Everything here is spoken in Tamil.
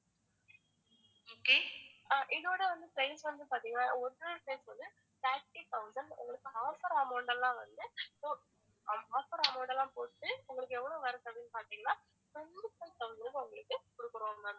அஹ் இதோட வந்து price வந்து பாத்திங்கன்னா original price வந்து thirty thousand உங்களுக்கு offer amount லாம் வந்து ஓ~ offer amount லாம் போட்டு உங்களுக்கு எவ்ளோ வருது அப்படினு பாத்திங்கன்னா twenty-four thousand க்கு உங்களுக்கு குடுக்கறோம் ma'am